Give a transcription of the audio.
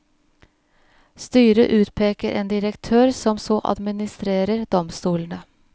Styret utpeker en direktør som så administrerer domstolene.